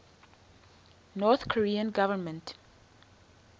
north korean government